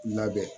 Labɛn